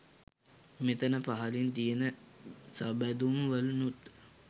මෙතන පහළින් තියන සබැඳුම් වලිනුත්